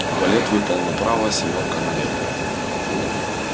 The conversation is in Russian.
валет выпал направо семёрка налево